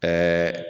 Ɛɛ